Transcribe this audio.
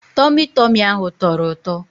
Tọmị Tọmị ahụ tọrọ ụtọ.